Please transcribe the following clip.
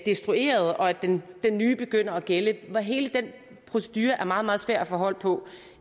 destrueret og at den nye begynder at gælde hele den procedure er meget meget svær at få hold på